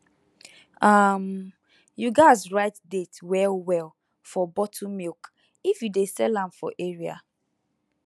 um you gats write date well well for bottle milk if you dey sell am for area